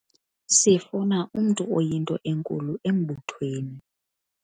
sifuna umntu oyinto enkulu embuthweni